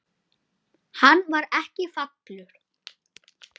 Hann var ekki falur.